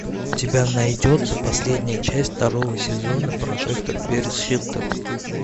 у тебя найдется последняя часть второго сезона прожекторперисхилтон